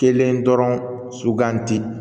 Kelen dɔrɔn suganti